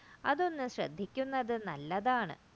അതൊന്ന് ശ്രദ്ധിക്കുന്നത് നല്ലതാണ്